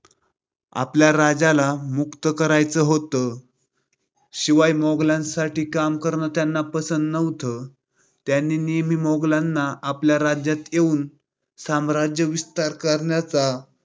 आपल्या राज्याला मुक्त करायच होत. शिवाय मोगलांसाठी काम करण त्यांना पसंत नव्हत. त्यांनी नेहमीच मोगलांना आपल्या राज्यात येऊन साम्राज्यविस्तार करण्यास